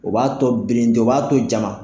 O b'a tɔ birinti o b'a tɔ jama.